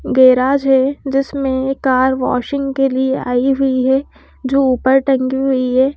Garage है जिसमें car washing के लिए आई हुई है जो ऊपर टंगी हुई है।